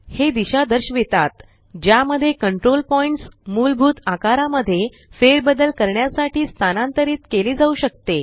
हे दिशा दर्शवितात ज्या मध्ये कंट्रोल पॉइण्ट्स मूलभूत आकारा मध्ये फेरबदल करण्यासाठी स्थानांतरित केले जाऊ शकते